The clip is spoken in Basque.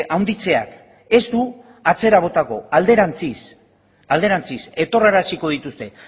handitzeak ez du atzera botako alderantziz etorraraziko dituzte